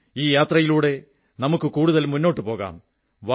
ഈ യാത്രയിലൂടെ നമുക്ക് കൂടുതൽ മുന്നോട്ടുപോകാം